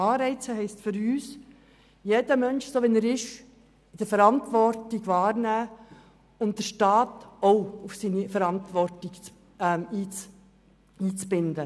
Anreize heisst: Jeder Mensch muss, so wie er ist, Verantwortung übernehmen, und auch der Staat ist in die Verantwortung einzubinden.